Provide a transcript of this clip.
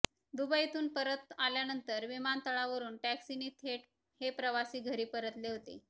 दुबईतून परत आल्यानंतर विमानतळावरुन टॅक्सीने थेट हे प्रवासी घरी परतले होते